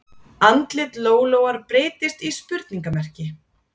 Andlit Lólóar breytist í spurningarmerki